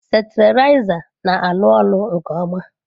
Steriliser na-arụ ọrụ nke ọma.